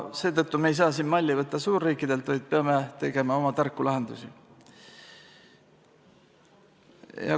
Seetõttu me ei saa siin malli võtta suurriikidelt, vaid peame leidma oma tarku lahendusi.